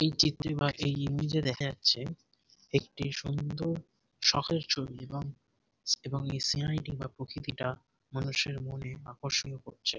এই চিত্রে বা এই নিজে দেখা যাচ্ছে একটি সুন্দর সকালের ছবি এবং এবং এই সিনারী টি বা প্রকৃতি টা মানুষের মনে আকর্ষণ করছে।